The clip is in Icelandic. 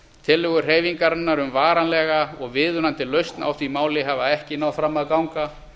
tillögur hreyfingarinnar um varanlega og viðunandi lausn á því máli hafa ekki náð fram að ganga